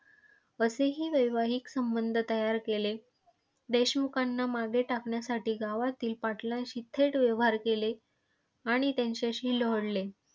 असेही वैवाहीक संबंध तयार केले, देशमुखांना मागे टाकण्यासाठी गावातील पाटलांशी थेट व्यवहार केले आणि त्यांच्याशी जोडले.